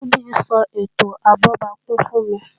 Funbí ń sọ ètò abọ́bakú fún mi